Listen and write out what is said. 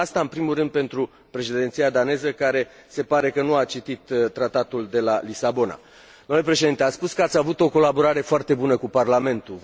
Spun asta în primul rând pentru Președinția daneză, care se pare că nu a citit Tratatul de la Lisabona. Domnule Președinte, ați spus că ați avut o colaborare foarte bună cu Parlamentul.